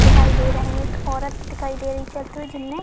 दिखाई दे रहे हैं। एक औरत दिखाई दे रही है चलती हुई जिनने --